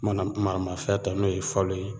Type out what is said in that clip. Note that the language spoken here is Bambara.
Mana maramafɛn ta n'o ye falo ye